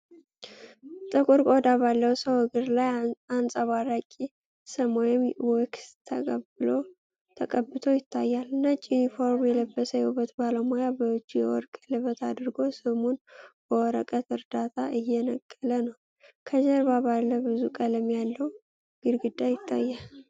ጥቁር ቆዳ ባለው ሰው እግር ላይ አንፀባራቂ ሰም ወይም ዋክስ ተቀብቶ ይታያል። ነጭ ዩኒፎርም የለበሰ የውበት ባለሙያ በእጁ የወርቅ ቀለበት አድርጎ ሰሙን በወረቀት እርዳታ እየነቀለ ነው። ከጀርባ ባለ ብዙ ቀለም ያለው ግድግዳ ይታያል።